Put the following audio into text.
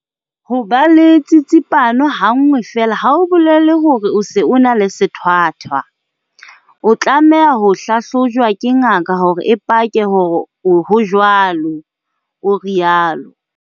Ho ba le tsitsipano ha nngwe feela ha ho bolele hore o se o na le sethwathwa. O tlameha ho hlahlojwa ke ngaka hore e pake hore ho jwalo, o rialo.